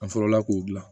An fɔlɔla k'o dilan